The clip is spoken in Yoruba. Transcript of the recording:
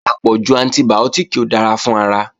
Àpọ̀jù antibìọ́tìkì ò dára fún ara